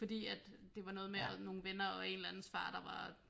Fordi at det var noget med nogle venner og en eller andens far der var